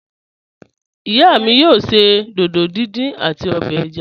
Iya mi yoo ṣe dídò díndín ati obè ẹ̀já.